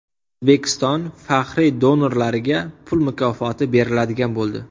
O‘zbekiston faxriy donorlariga pul mukofoti beriladigan bo‘ldi.